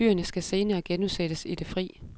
Dyrene skal senere genudsættes i det fri.